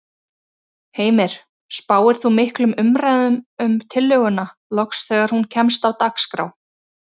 Heimir: Spáir þú miklum umræðum um tillöguna loks þegar hún kemst á dagskrá?